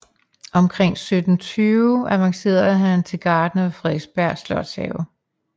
Omkring 1720 avancerede han til gartner ved Frederiksberg Slotshave